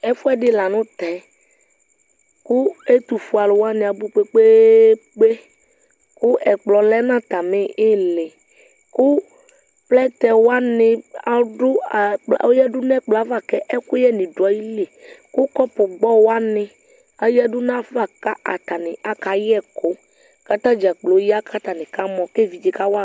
Ɛfuɛ di la tɛ kʋ ɛtʋ fue alʋ wani abʋ kpekpeekpe kʋ ɛkplɔ lɛ nʋ atami ili kʋ plɛtɛ wani adʋ, a oyadu n'ɛkplɔ ava kʋ ɛkʋyɛ ni dʋ ayili kʋ kɔpʋ gbɔ wani ayadʋ nafa kʋ atani akayɛ ɛkʋ kʋ atadza kplo ya kʋ atani kamɔ ke evidze kawa